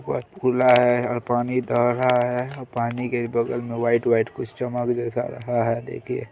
खुला है और पानी रहा है और पानी के बगल में वाइट - वाइट कुछ चमक जैसा रहा है देखिए--